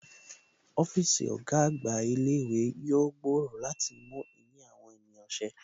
Ọ́fíìsì ọ̀gá àgbà ilé ìwé yóò gbòòrò láti mú ìní àwọn ènìyàn ṣe